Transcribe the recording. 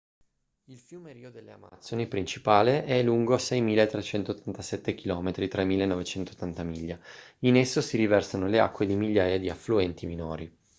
il fiume rio delle amazzoni principale è lungo 6.387 km 3.980 miglia. in esso si riversano le acque di migliaia di affluenti minori